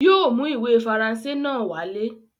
Yóò mú ìwé Faransé náà wálé.